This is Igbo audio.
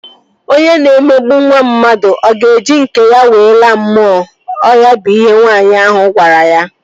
Onye na-emegbu nwa mmadụ, ọ ga-eji nke ya wee laa mmụọ? Ọ ya bụ ihe nwaanyị ahu gwara gị?